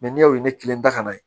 n'i y'o ye ne kelen ta ka na